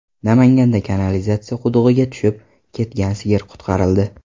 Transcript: Namanganda kanalizatsiya qudug‘iga tushib ketgan sigir qutqarildi.